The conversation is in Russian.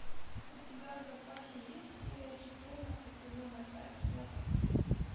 у тебя в запасе есть серия четырнадцать сезона пять сваты